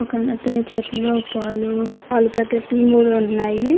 ఒక అతని చేతిలో పాలు పాలు పాకెట్లు మూడు ఉన్నాయి.